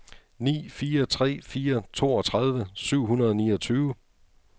ni fire tre fire toogtredive syv hundrede og niogtyve